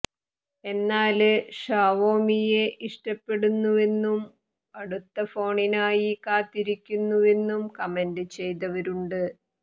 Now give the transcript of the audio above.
എന്നാല് ഷാവോമിയെ ഇഷ്ടപ്പെടുന്നുവെന്നും അടുത്ത ഫോണിനായി കാത്തിരിക്കുന്നുവെന്നും കമന്റ് ചെയ്തവരുണ്ട്